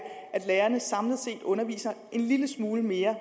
at lærerne samlet set underviser en lille smule mere